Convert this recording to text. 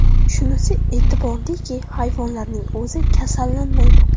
Shunisi e’tiborliki, hayvonlarning o‘zi kasallanmaydi.